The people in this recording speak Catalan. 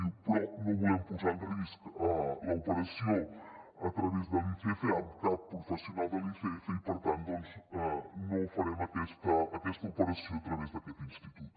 diu però no volem posar en risc l’operació a través de l’icf amb cap professional de l’icf i per tant doncs no farem aquesta operació a través d’aquest institut